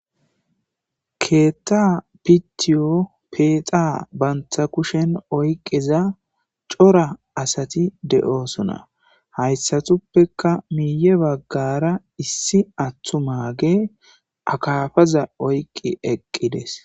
keetta pitiyo peexa banta kushen oyqiza cora asati de7oosona hayssatuppeka miiye baggara issi attu maage akafaza oyqi eqqides